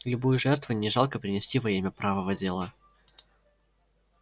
любую жертву не жалко принести во имя правого дела